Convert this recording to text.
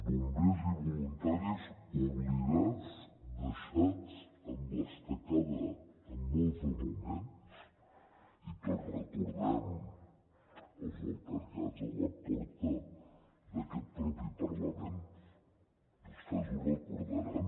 bombers i voluntaris oblidats deixats a l’estacada en molts moments i tots recordem els altercats a la porta d’aquest mateix parlament vostès ho recordaran